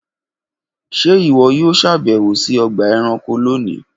Ṣe iwọ yoo ṣabẹwo si ọgba ẹranko loni.